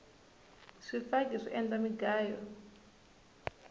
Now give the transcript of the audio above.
swifaki swi endla mugayo